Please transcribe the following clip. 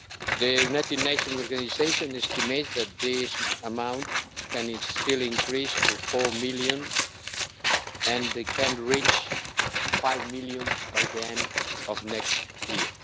The United Nations organisation estimates that this amount can still increase to 4 million, and it could reach 5 million by the end of next year.